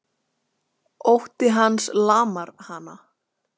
Ótti hans lamar hana.